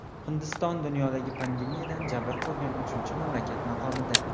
Hindiston dunyoda pandemiyadan jabr ko‘rgan uchinchi mamlakat maqomida.